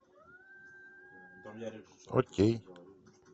окей